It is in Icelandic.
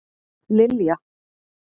Lilja